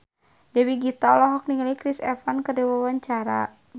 Dewi Gita olohok ningali Chris Evans keur diwawancara